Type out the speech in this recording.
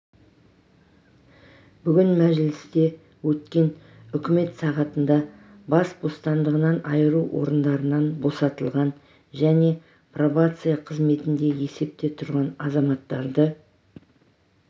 бүгін мәжілісте өткен үкімет сағатында бас бостандығынан айыру орындарынан босатылған және пробация қызметінде есепте тұрған азаматтарды